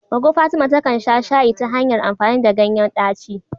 Goggo Fatima takan sha shayi ta hanyar amfani ganyen daci.